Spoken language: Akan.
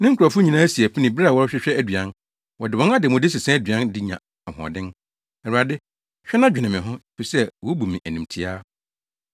Ne nkurɔfo nyinaa si apini bere a wɔrehwehwɛ aduan; wɔde wɔn ademude sesa aduan de nya ahoɔden. “Awurade, hwɛ na dwene me ho, efisɛ wobu me animtiaa.”